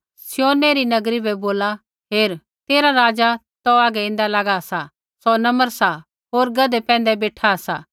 सिय्योनै री नगरी बै बोला हेर तेरा राज़ा तौ हागै ऐन्दा लागा सा सौ नम्र सा होर गधै पैंधै बेठा सा